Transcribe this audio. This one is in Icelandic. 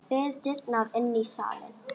Við dyrnar inn í salinn.